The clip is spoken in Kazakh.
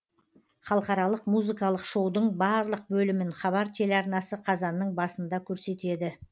халықаралық музыкалық шоудың барлық бөлімін хабар телеарнасы қазанның басында көрсетеді